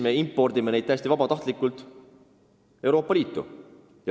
Me impordime neid täiesti vabatahtlikult Euroopa Liitu.